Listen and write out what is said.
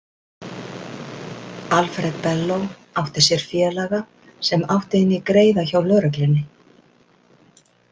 Alfred Bello átti sér félaga sem átti inni greiða hjá lögreglunni.